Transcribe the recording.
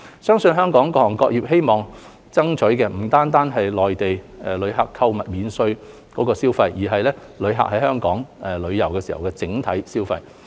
相信香港各行各業希望爭取的不僅是內地旅客購買免稅貨品的消費，而是旅客在香港旅遊的整體消費。